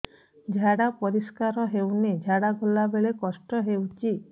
ଝାଡା ପରିସ୍କାର ହେଉନି ଝାଡ଼ା ଗଲା ବେଳେ କଷ୍ଟ ହେଉଚି